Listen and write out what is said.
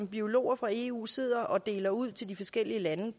biologer fra eu sidder og deler fiskekvoter ud til de forskellige lande